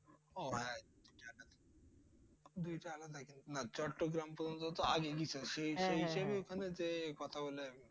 ওহ হ্যাঁ চট্রগ্রাম যে কথা বলে